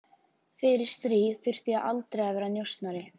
Fyrir stríð þurfti ég aldrei að vera njósnari